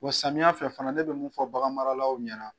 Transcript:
Wa samiyan fɛ fana ne bɛ mun fɔ baganmaralaw ɲɛna